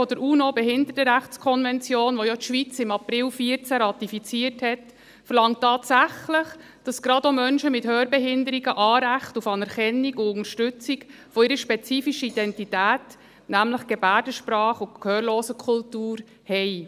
Artikel 30 Absatz 4 der UNO-Behindertenrechtskonvention, welche die Schweiz im April 2014 ratifiziert hat, verlangt tatsächlich, dass gerade auch Menschen mit Hörbehinderungen Anrecht auf Anerkennung und Unterstützung ihrer spezifischen Identität, nämlich der Gebärdensprache und der Gehörlosenkultur, haben.